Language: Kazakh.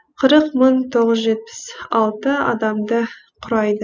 қырық мың тоғыз жүз жетпіс алты адамды құрайды